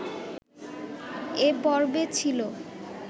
এ পর্বে ছিল